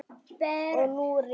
Og nú reynir á.